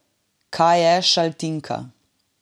Kaj je Šaltinka?